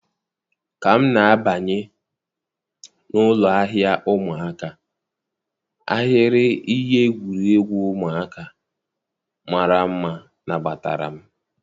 Ka m na-abanye n'ụlọ ahịa ụmụaka, ahịrị ihe egwuregwu ụmụaka mara mma nabatara m